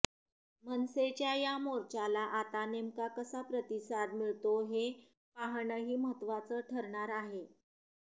मनसेच्या या मोर्चाला आता नेमका कसा प्रतिसाद मिळतो हे पाहणंही महत्त्वाचं ठरणार आहे